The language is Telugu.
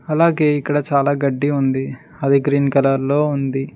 అలాగే ఇక్కడ చాలా గడ్డి ఉంది అది గ్రీన్ కలర్ లో ఉంది.